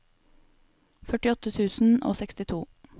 førtiåtte tusen og sekstito